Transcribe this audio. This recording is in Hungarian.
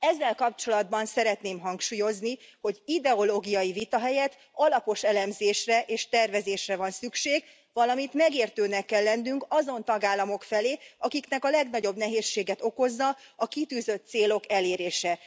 Ezzel kapcsolatban szeretném hangsúlyozni, hogy ideológiai vita helyett alapos elemzésre és tervezésre van szükség, valamint megértőnek kell lennünk azon tagállamok felé, akiknek a legnagyobb nehézséget okozza a kitűzött célok elérése.